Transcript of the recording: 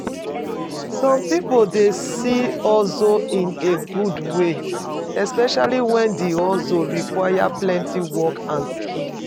Some pipo dey see hustle in a good way especially when di hustle require plenty work and skill